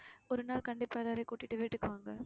ஒரு நாள் கண்டிப்பா எல்லாரையும் கூட்டிட்டு வீட்டுக்கு வாங்க